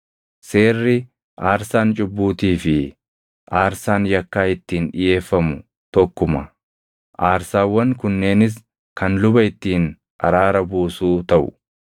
“ ‘Seerri aarsaan cubbuutii fi aarsaan yakkaa ittiin dhiʼeeffamu tokkuma; aarsaawwan kunneenis kan luba ittiin araara buusuu taʼu.